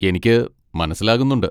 എനിക്ക് മനസ്സിലാകുന്നുണ്ട്.